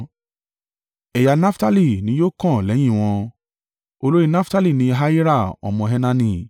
Ẹ̀yà Naftali ni yóò kàn lẹ́yìn wọn. Olórí Naftali ni Ahira ọmọ Enani.